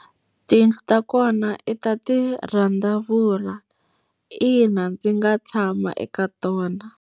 Tiyindlu ta kona i ta ti randavula. Ina ndzi nga tshama eka tona.